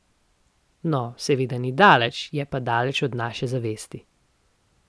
No, seveda ni daleč, je pa daleč od naše zavesti.